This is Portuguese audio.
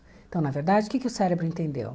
Então, na verdade, o que que o cérebro entendeu?